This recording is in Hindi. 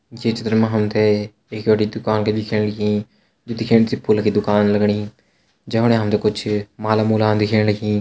ये चित्र मा हम तैं एक बड़ी दुकान दिखेण लगीं जू दिखेण छ फूल की दुकान लगणी जफणी हम तैं कुछ माला-मूलान दिखेणी।